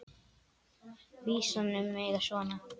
Vísan um mig er svona